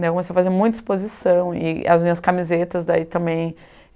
Comecei a fazer muita exposição e as minhas camisetas daí também.